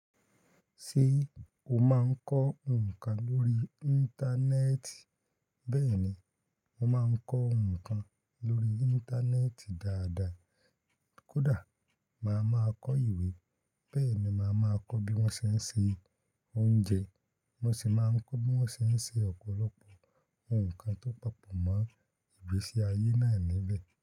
Ṣé o máa ń kọ́ nǹkan lórí. Íńtánẹ́ẹ̀tì? Bẹ́ẹ̀ni, mo máa ń kọ nǹkan lórí íńtánẹ́ẹ̀tì dáadáa. Kódà màá ma kọ ìwé bẹ́ẹ̀ni màá ma kọ bí wọ́n ṣe ń sè oúnjẹ, mo sì máa ń kọ bí wọ́n ń ṣe ṣe ọ̀pọ̀lọpọ̀ ǹkan tó papọ̀ mọ́ ìgbésí ayé na níbẹ̀.